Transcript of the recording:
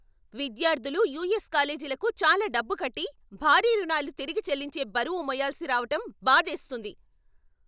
విద్యార్థులు యుఎస్ కాలేజీలకు చాలా డబ్బు కట్టి, భారీ రుణాలు తిరిగి చెల్లించే బరువు మొయ్యాల్సి రావటం బాధేస్తుంది.